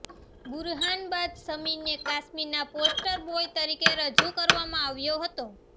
બુરહાન બાદ સમીરને કાશ્મીરના પોસ્ટર બોય તરીકે રજૂ કરવામાં આવ્યો હતો